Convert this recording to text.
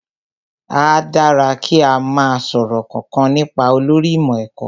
Áá dára kí o má sọ̀rọ̀ kankan nípa olórí ìmọ̀ ẹ̀kọ́